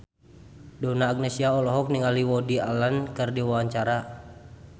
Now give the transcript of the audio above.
Donna Agnesia olohok ningali Woody Allen keur diwawancara